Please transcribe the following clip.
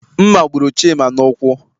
Mma gburu Chima n'ụkwụ.